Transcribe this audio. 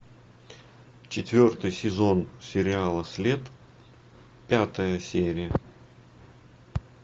четвертый сезон сериала след пятая серия